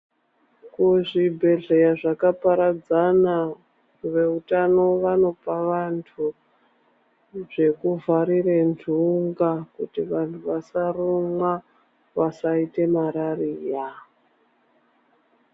Kuzvibhendleya zvakaparadzana veutano vanopa vantu zvekuvharira ntunga kuti vantu vasarumwa vasaita marariya.